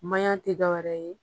Mayan tɛ dɔ wɛrɛ ye